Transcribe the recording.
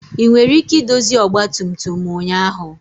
Ị nwere ike idozi ọgba tum tum ụnyaahụ?